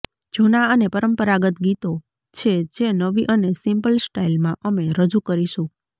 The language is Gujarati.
જૂનાં અને પરંપરાગત ગીતો છે જે નવી અને સિમ્પલ સ્ટાઇલમાં અમે રજૂ કરીશું